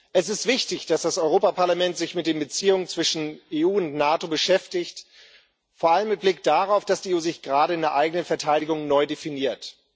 Es ist wichtig, dass das Europäische Parlament sich mit den Beziehungen zwischen EU und NATO beschäftigt, vor allem mit Blick darauf, dass die EU sich gerade in der eigenen Verteidigung neu definiert.